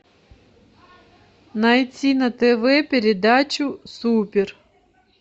найти на тв передачу супер